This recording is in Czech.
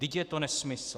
Vždyť je to nesmysl.